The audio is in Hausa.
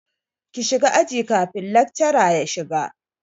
Ki shiga aji kafin lakcara ya shiga!